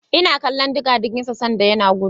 Ina kallon digadigin sa sanda yana gudu.